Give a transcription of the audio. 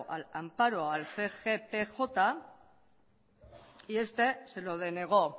al amparo al cgpj y este se lo denegó